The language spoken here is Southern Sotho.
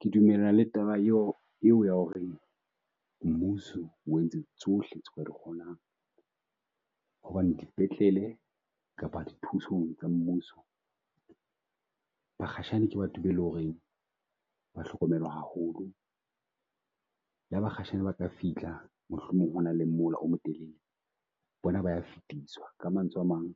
Ke dumellana le taba eo, eo ya ho re mmuso o entse tsohle tse kgonang hobane dipetlele kapa dithusong tsa mmuso bakgashane ke batho be e le ho reng ba hlokomelwa haholo. Le ha bakgashane ba ka fihla mohlomong ho na le mola o motelele. Bona ba ya fetiswa ka mantswe a mang,